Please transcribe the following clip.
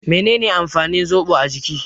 Me ne ne amfanin zobo a jiki?